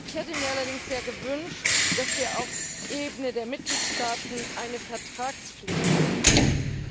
Ich hätte mir allerdings sehr gewünscht, dass wir auf Ebene der Mitgliedstaaten eine Vertragspflicht einführen.